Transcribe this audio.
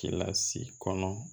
Kɛla si kɔnɔ